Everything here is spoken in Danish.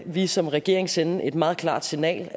vi som regering sende et meget klart signal